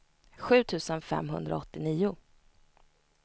sju tusen femhundraåttionio